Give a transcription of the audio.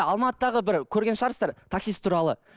алматыдағы бірі көрген шығарсыздар таксист туралы